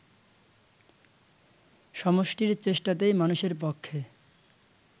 সমষ্টির চেষ্টাতেই মানুষের পক্ষে